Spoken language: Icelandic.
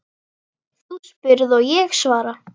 Þú spyrð og ég svara.